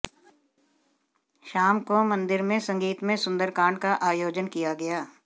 शाम को मंदिर में संगीतमय सुंदरकांड का आयोजन किया गया